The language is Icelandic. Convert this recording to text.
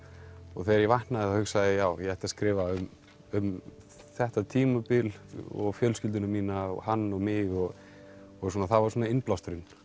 og þegar ég vaknaði þá hugsaði ég já ég ætti að skrifa um um þetta tímabil og fjölskylduna mína og hann og mig það var svona innblásturinn